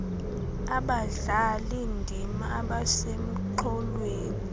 abadlali ndima abasemxholweni